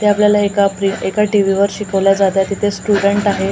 ते आपल्याला एका प्री एका टीव्हीवर शिकवले जात आहे तिथे स्टुडंट आहे अ --